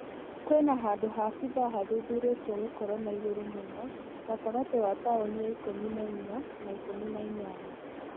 Kwĩna handũ ha bitha hathuthurĩtio gũkorwo ha igũrũ mũno gatagate wa taũni ya ikũmi na inya na ikũmi na inyanya .